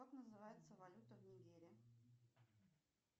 как называется валюта в нигерии